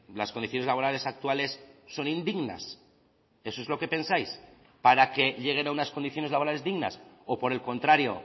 las condiciones laborales actuales son indignas eso es lo que pensáis para que lleguen a unas condiciones laborales dignas o por el contrario